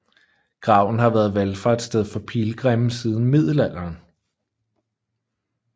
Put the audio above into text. Graven har været valfartssted for pilgrimme siden middelalderen